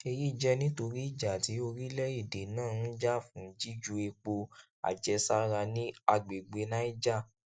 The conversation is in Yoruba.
èyí jẹ nítorí ìjà tí orílẹèdè náà ń jà fún jíjù epo àjẹsára ní àgbègbè niger